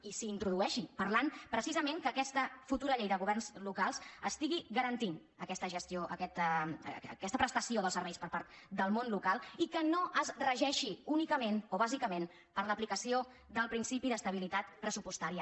i s’hi introdueixi parlant precisament que aquesta futu·ra llei de governs locals estigui garantint aquesta pres·tació dels serveis per part del món local i que no es regeixi únicament o bàsicament per l’aplicació del principi d’estabilitat pressupostària